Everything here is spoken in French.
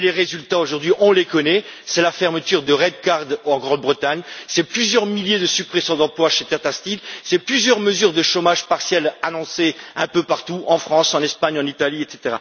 Les conséquences, on les connaît c'est la fermeture de Redcar en Grande Bretagne, c'est plusieurs milliers de suppressions d'emplois chez Tata Steel, c'est plusieurs mesures de chômage partiel annoncées un peu partout en France, en Espagne, en Italie, etc.